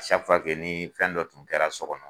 saki fuwa ke ni fɛn dɔ tun kɛra sɔ kɔnɔ